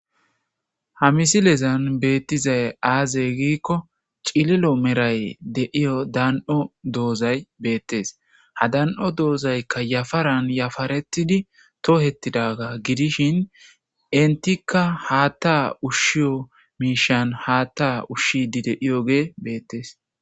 ha misilezan beettizay aaze giikko cililo meray deiyo dan7o doozay beettes ha dan7o doozaykka yafaran yafaretidi toohettidaga gidishin intikka haatta ushshiyo miishan haatta ushshidi deiyoge beettees